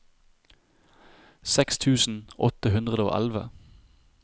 seks tusen åtte hundre og elleve